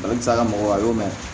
Ale bɛ se ka mɔgɔ a y'o mɛn